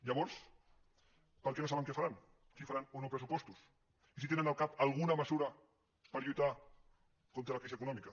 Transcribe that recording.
llavors per què no saben què faran si faran o no pressupostos i si tenen al cap alguna mesura per lluitar contra la crisi econòmica